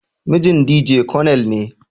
Mijin Dije konel ne.